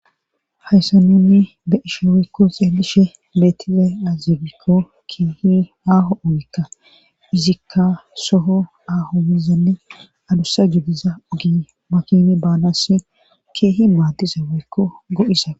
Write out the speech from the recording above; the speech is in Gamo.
hayssa nunni be isho woykko xeelishe beettize azibikko kiihi aaho ogekka izikka soho aaho mizanne alussa juddiza gi makini baanasi kiihi maaddiza weykko go7isa